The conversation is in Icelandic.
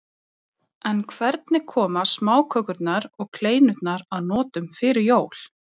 En hvernig koma smákökurnar og kleinurnar að notum fyrir jól?